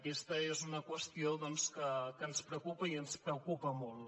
aquesta és una qüestió doncs que ens preocupa i ens preocupa molt